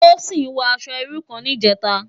Tosin wò aṣò irú kán nijètá